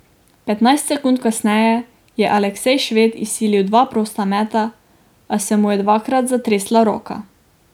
Petnajst sekund kasneje je Aleksej Šved izsilil dva prosta meta, a se mu je dvakrat zatresla roka.